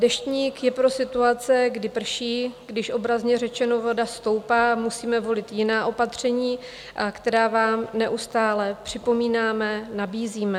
Deštník je pro situace, kdy prší, když - obrazně řečeno - voda stoupá, musíme volit jiná opatření, která vám neustále připomínáme, nabízíme.